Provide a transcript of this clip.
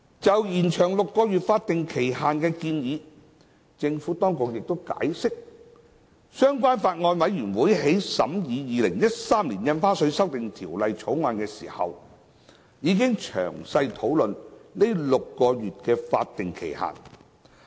就延長6個月法定期限的建議，政府當局亦解釋，相關法案委員會在審議《2013年印花稅條例草案》時，已經詳細討論該6個月的法定期限。